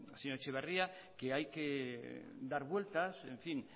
señor etxeberria que hay que dar vueltas en fin